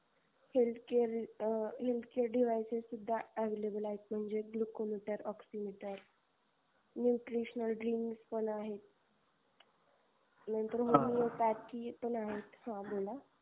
healthcare devices सुद्धा available आहेत म्हणजे glucometer, oxymeter, nutritional drink पण आहेत नंतर homeopathic पण आहेत formula